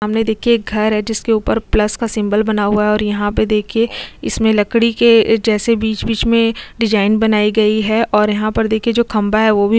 सामने दिखये एक घर है जिसके ऊपर प्लस का सीमिबोल और यहाँ पर दिखये इसमे लकड़ी के जैसे बीच मे बीच डेसिंगे बानी गयी है और यहाँ पर देखिये जो खम्बा है वो भी--